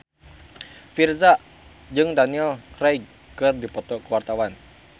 Virzha jeung Daniel Craig keur dipoto ku wartawan